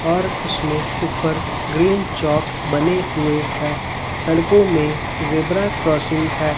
और उसमे ऊपर ग्रीन चौक बने हुए है सड़कों में ज़ेबरा क्रॉसिंग है।